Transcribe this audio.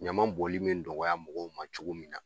Ɲama bɔnli bi nɔgɔya mɔgɔw ma cogo min na